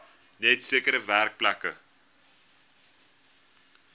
net sekere werkplekke